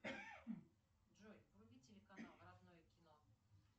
джой вруби телеканал родное кино